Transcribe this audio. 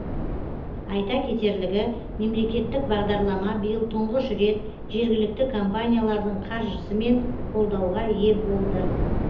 айта кетерлігі мемлекеттік бағдарлама биыл тұңғыш рет жергілікті компаниялардың қаржысымен қолдауға ие болды